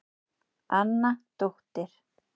Anna dóttir